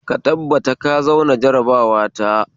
Ka tabbatar ka zauna jarabawa ta